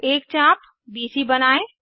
एक चाप बीसी बनायें